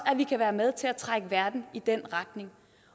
at vi kan være med til at trække verden i den retning